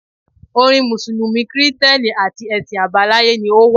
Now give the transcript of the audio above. Orin Mùsùlùmí, kìrìtẹ́nì àti ẹ̀sìn àbáláyé ni ó wà.